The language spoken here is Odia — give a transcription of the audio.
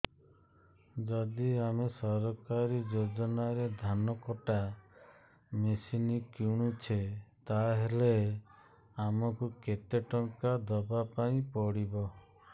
ଯଦି ଆମେ ସରକାରୀ ଯୋଜନାରେ ଧାନ କଟା ମେସିନ୍ କିଣୁଛେ ତାହାଲେ ଆମକୁ କେତେ ଟଙ୍କା ଦବାପାଇଁ ପଡିବ